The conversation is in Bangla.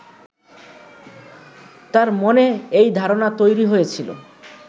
তাঁর মনে এই ধারণা তৈরি হয়েছিল